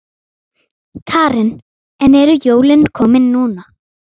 Karen: En eru jólin komin núna?